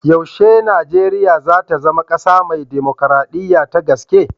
Yaushe Nijeriya za ta zama ƙasa mai dimukraɗiya ta gaske?